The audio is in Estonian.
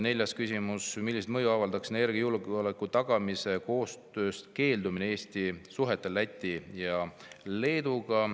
" Neljas küsimus: "Millist mõju avaldaks energiajulgeoleku tagamise koostööst keeldumine Eesti suhetele Läti ja Leeduga?